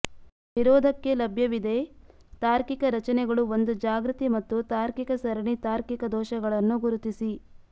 ವಿರೋಧಕ್ಕೆ ಲಭ್ಯವಿದೆ ತಾರ್ಕಿಕ ರಚನೆಗಳು ಒಂದು ಜಾಗ್ರತೆ ಮತ್ತು ತಾರ್ಕಿಕ ಸರಣಿ ತಾರ್ಕಿಕ ದೋಷಗಳನ್ನು ಗುರುತಿಸಿ